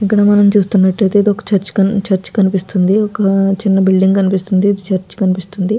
ఇక్కడ మనం చూస్తున్నటైతే ఇదొక చర్చ్ చర్చ్ కనిపిస్తున్నటుంది ఒక చిన్న బిల్డింగ్ కనిపిస్తున్నటుంది. ఇది చర్చ్ కనిపిస్తుంది.